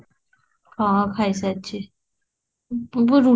ହଁ କି ସାରିଛି, ମୁଁ ରୁଟି ଗୋଟେ